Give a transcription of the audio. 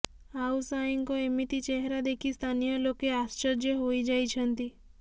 ଆଉ ସାଏଙ୍କ ଏମିତି ଚେହେରା ଦେଖି ସ୍ଥାନୀୟ ଲୋକେ ଆଶ୍ଚର୍ଯ୍ୟ ହୋଇଯାଇଛନ୍ତି